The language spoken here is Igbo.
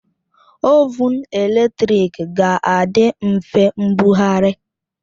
Ovụn eletrik ga-adị mfe mbugharị